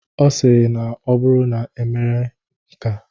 Ọ sịrị na ọ bụrụ na emere nkea.